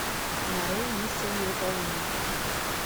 нарой миссия невыполнима